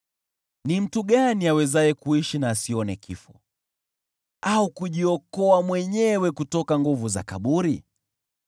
Ni mtu gani awezaye kuishi na asione kifo, au kujiokoa mwenyewe kutoka nguvu za kaburi?